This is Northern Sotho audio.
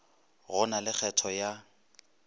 go na le kgetho ya